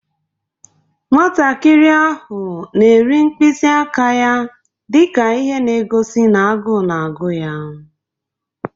Nwatakịrị ahụ na-eri mkpịsị aka ya dị ka ihe na-egosi na agụụ na-agụ ya.